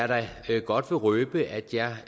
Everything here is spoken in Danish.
da godt røbe at jeg